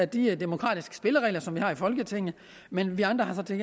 de demokratiske spilleregler som vi har i folketinget men vi andre har så til